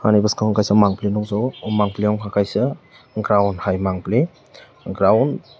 ani boskango kaisa mangpholoi nogjago o mangpholoi wngka kaisa ground hai mangpholoi ground.